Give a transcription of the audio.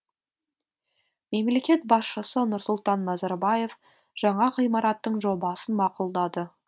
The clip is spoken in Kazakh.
мемлекет басшысы нұрсұлтан назарбаев жаңа ғимараттың жобасын мақұлдады